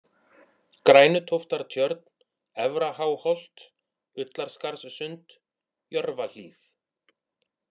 Grænutóftartjörn, Efra-Háholt, Ullarskarðssund, Jörfahlíð